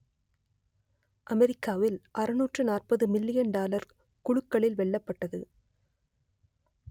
அமெரிக்காவில் அறுநூற்று நாற்பது மில்லியன் டாலர் குலுக்கலில் வெல்லப்பட்டது